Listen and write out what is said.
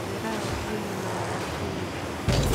Miraha waxay yimaadaan xilliga.